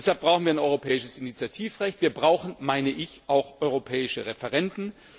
Deshalb brauchen wir ein europäisches Initiativrecht, wir brauchen meine ich auch europäische Referenden.